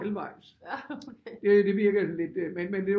Halvvejs det virker sådan lidt men øh